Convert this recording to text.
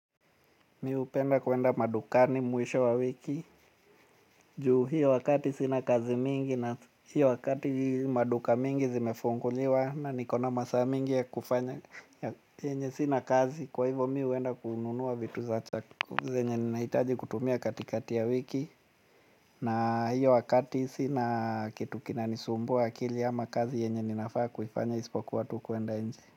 Mi upenda kuenda madukani mwisho wa wiki. Juu hiyo wakati sina kazi mingi na hiyo wakati maduka mingi zimefunguliwa. Na nikona masaa mingi ya kufanya yenye sina kazi. Kwa hivo mi huenda kuununua vitu za chako. Zenye ninahitaji kutumia katikati ya wiki. Na hiyo wakati sina kitu kinanisumbua akili ama kazi yenye ninafaa kuifanya ispokuwa tu kwenda nje.